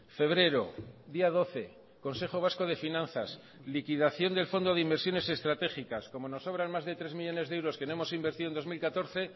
febrero día doce consejo vasco de finanzas liquidación del fondo de inversiones estratégicas como nos sobran más de tres millónes de euros que no hemos invertido en dos mil catorce